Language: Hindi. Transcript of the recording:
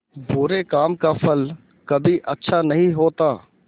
बुरे काम का फल कभी अच्छा नहीं होता